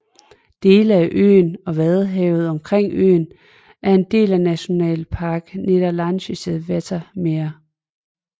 Dele af øen og vadehavet omkring øen er en del af Nationalpark Niedersächsisches Wattenmeer